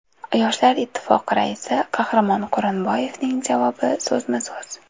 Yoshlar Ittifoqi raisi Qahramon Quronboyevning javobi so‘zma-so‘z .